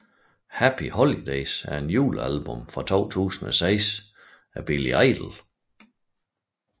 Happy Holidays er et julealbum fra 2006 af Billy Idol